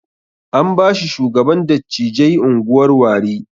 An bashi shugaban dattijai unguwar Warri